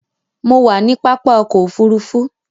Mo wà ní pápá ọkò òfurufú.